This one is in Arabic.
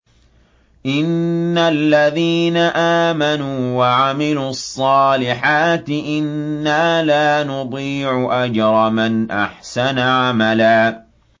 إِنَّ الَّذِينَ آمَنُوا وَعَمِلُوا الصَّالِحَاتِ إِنَّا لَا نُضِيعُ أَجْرَ مَنْ أَحْسَنَ عَمَلًا